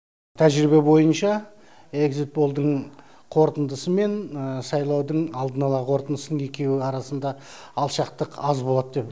тәжірибе бойынша эгзит полдың қорытындысы мен сайлаудың алдын ала қорытындысының екеуі арасында алшақтық аз болады деп